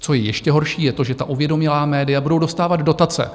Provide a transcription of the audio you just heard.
Co je ještě horší, je to, že ta uvědomělá média budou dostávat dotace.